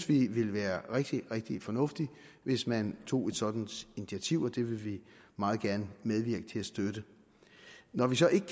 ville være rigtig rigtig fornuftigt hvis man tog et sådant initiativ og det vil vi meget gerne medvirke til at støtte når vi så ikke